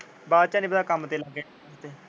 ਬਾਅਦ ਚ ਨਹੀ ਪਤਾ ਕੰਮ ਤੇ ਲੱਗੇ ਉੱਥੇ